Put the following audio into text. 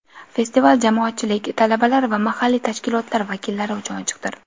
Festival jamoatchilik, talabalar va mahalliy tashkilotlar vakillari uchun ochiqdir.